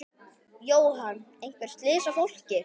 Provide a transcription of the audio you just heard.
Jóhann: Einhver slys á fólki?